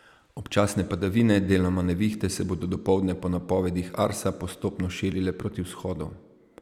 Občasne padavine, deloma nevihte, se bodo dopoldne po napovedih Arsa postopno širile proti vzhodu.